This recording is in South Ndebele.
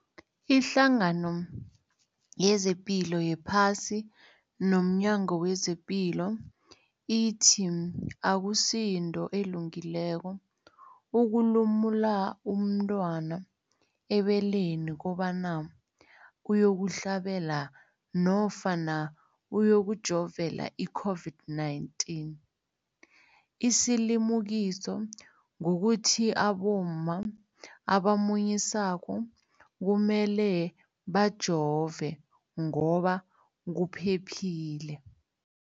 Ipendulo, iHlangano yezePilo yePhasi nomNyango wezePilo ithi akusinto elungileko ukulumula umntwana ebeleni kobanyana uyokuhlabela nofana uyokujovela i-COVID-19. Isilimukiso kukuthi abomma abamunyisako kumele bajove ngoba kuphephile.